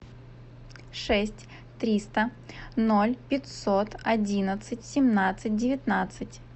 шесть триста ноль пятьсот одиннадцать семнадцать девятнадцать